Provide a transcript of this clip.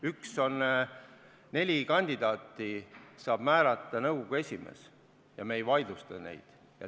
Üks on see, et neli kandidaati saab määrata nõukogu esimees ja me ei vaidlusta neid.